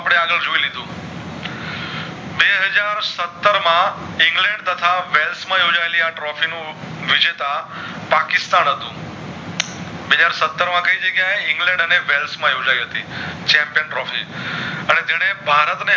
માં ઇંગ્લેન તથા વેલ્સ માં યોજાયેલ આ trophy નું વિજેતા પાકિસ્તાન હતું બે હાજર સતર માંથી જગ્યાએ ઇંગ્લેન્ડ અને માં યોજાય હતી Champion Trophy અને જેને ભારત ને